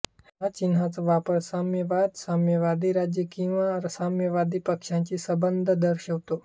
ह्या चिन्हाचा वापर साम्यवाद साम्यवादी राज्य किंवा साम्यवादी पक्षाशी संबंध दर्शवतो